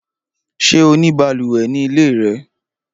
Ṣé o ní balùwẹ̀ ní ilé rẹ?